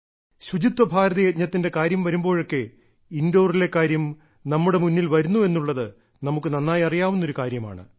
ശുചിത്വ ഭാരത യജ്ഞത്തിന്റെ കാര്യം വരുമ്പോഴൊക്കെ ഇൻഡോറിലെ കാര്യം നമ്മുടെ മുന്നിൽ വരുന്നു എന്നുള്ളത് നമുക്ക് നന്നായി അറിയാവുന്ന കാര്യമാണ്